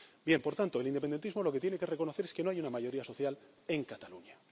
Bien, por tanto, el independentismo lo que tiene que reconocer es que no hay una mayoría social en Cataluña.